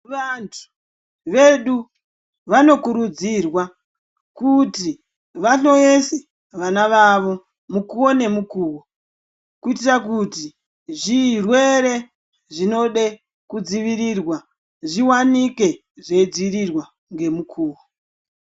Vantu vedu vanokurudzirwa kuti vahloyese vana vavo mukuwo nemukuwo, kuitira kuti zvirwere zvinode kudzivirirwa zviwanike zveidzivirirwa ngemukuwo.